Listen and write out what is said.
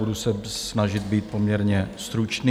Budu se snažit být poměrně stručný.